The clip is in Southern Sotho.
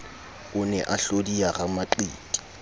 o ne a hlodiya ramaqiti